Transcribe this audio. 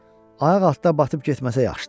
Ayaq altda batıb getməsə yaxşıdır.